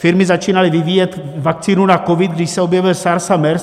Firmy začínaly vyvíjet vakcínu na covid, když se objevil SARS a MERS.